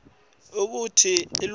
kute atfole lwati